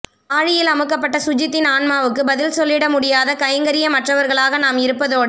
ஆழியில் அமுக்கப்பட்ட சுஜித்தின் ஆண்மாவுக்கு பதில் சொல்லிட முடியாத கைங்கரியமற்றவர்களாக நாம் இருப்பதோடு